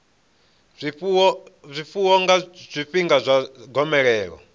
zwifuwo nga zwifhinga zwa gomelelo